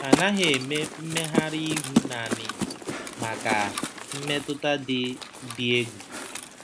A naghị eme mmegharị ihu nanị maka mmetụta dị dị egwu.